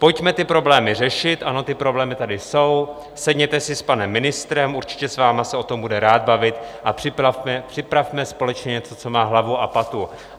Pojďme ty problémy řešit, ano, ty problémy tady jsou, sedněte si s panem ministrem, určitě s vámi se o tom bude rád bavit, a připravme společně něco, co má hlavu a patu.